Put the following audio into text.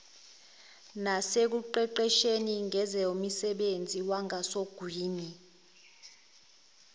nasekuqeqesheni ngezomsebenzi wangasogwini